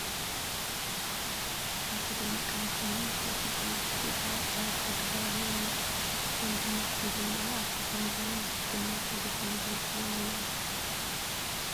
ኣይተ ደመቀ መኮንን ብሰብ ስልጣናት ብጭብጨባ ኣቀባብላ ይግበረሎም ኣሎ፡፡ ንሶም ድማ ኢዶም ኣብ ኣፍ ልቦም ገይሮም ብትሕትና ሓጐሶም ይገልፁሎም ኣለዉ፡፡